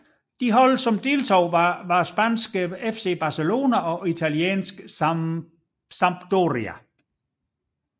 De deltagende hold var spanske FC Barcelona og italienske Sampdoria